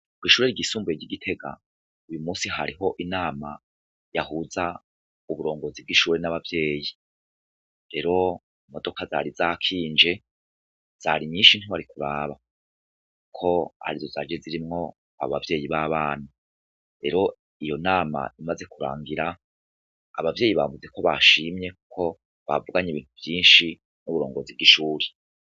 Kw'ishuri ryisumbuye ry'i Gitega, uyu munsi hariho inama yahuza uburongozi bw'ishuri n'ababyeyi .Rero imodoka zari zakinje zari nyinshi ntiwari kuraba ko ari zo zaje zirimwo abavyeyi b'abana. Rero iyo nama imaze kurangira , abavyeyi bavuze ko bashimye ko bavuganye ibintu vyinshi n'uburongozi bw'ishuri.